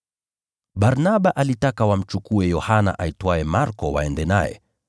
Barnaba alitaka wamchukue Yohana aitwaye Marko waende naye.